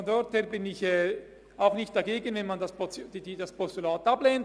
Insofern bin ich auch nicht dagegen, wenn man das Postulat ablehnt.